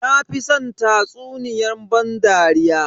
Na fi san tatsuniyan ban dariya.